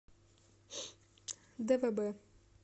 двб